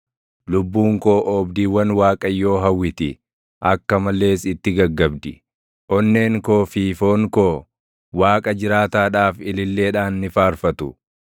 Lubbuun koo oobdiiwwan Waaqayyoo hawwiti; akka malees itti gaggabdi; onneen koo fi foon koo Waaqa jiraataadhaaf ililleedhaan ni faarfatu.